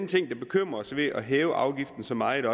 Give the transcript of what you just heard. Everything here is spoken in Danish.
ting der bekymrer os ved at hæve afgiften så meget